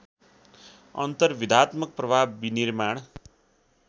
अन्तर्विधात्मक प्रभाव विनिर्माण